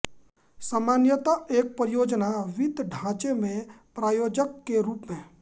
सामान्यतः एक परियोजना वित्त ढ़ाँचे में प्रायोजक के रूप में